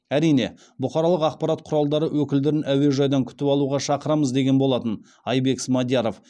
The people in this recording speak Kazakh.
әрине бұқаралық ақпарат құралдары өкілдерін әуежайдан күтіп алуға шақырамыз деген болатын айбек смадияров